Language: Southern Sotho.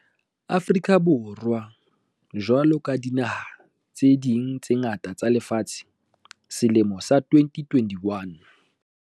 Afrika Borwa jwalo ka dinaha tse ding tse ngata tsa lefatshe, selemo sa 2021